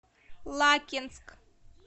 лакинск